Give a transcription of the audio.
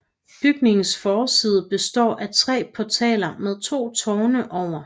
Bygningens forside består af tre portaler med to tårne over